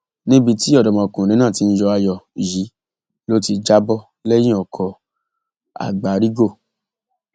níbi tí ọdọmọkùnrin náà ti ń yọ ayọ yìí ló ti já bọ lẹyìn ọkọ àgbárígò